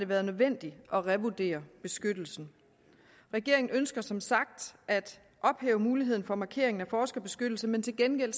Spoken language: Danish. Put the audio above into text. været nødvendigt at revurdere beskyttelsen regeringen ønsker som sagt at ophæve muligheden for markeringen af forskerbeskyttelse men til gengæld